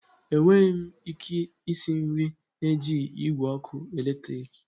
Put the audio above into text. Enweghị m ike isi nri na-ejighi igwe ọkụ eletrik.